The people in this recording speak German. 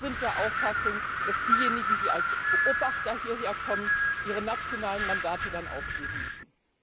Wir sind der Auffassung, dass diejenigen, die als Beobachter hierher kommen, ihre nationalen Mandate dann aufgeben müssen.